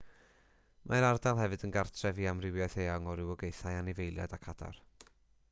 mae'r ardal hefyd yn gartref i amrywiaeth eang iawn o rywogaethau anifeiliaid ac adar